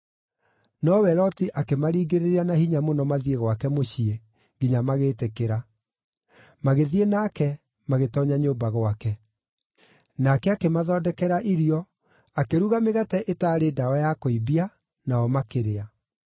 Nowe Loti akĩmaringĩrĩria na hinya mũno mathiĩ gwake mũciĩ, nginya magĩtĩkĩra. Magĩthiĩ nake, magĩtoonya nyũmba gwake. Nake akĩmathondekera irio, akĩruga mĩgate ĩtaarĩ ndawa ya kũimbia, nao makĩrĩa.